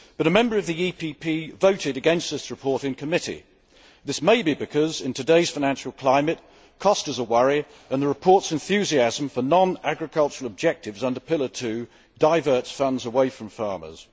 however, a member of the PPE Group voted against this report in committee. This may be because, in today's financial climate, cost is a worry and the report's enthusiasm for non agricultural objectives under pillar two diverts funds away from farmers.